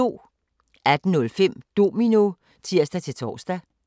18:05: Domino (tir-tor)